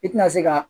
I tina se ka